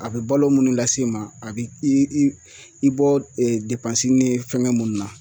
A bɛ balo munnu lase i ma a bɛ i i i bɔ ni fɛngɛ minnu na.